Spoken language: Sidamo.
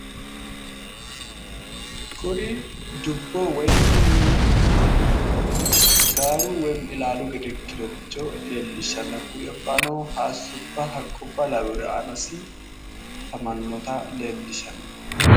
Kuri dubbo woyimmi gaaru woyiimmi ilaalu gede ikkinorichi leellishshanno. hakkuribbano hayiissubba haqqubba laweere aanasi afamannota leellishshanno.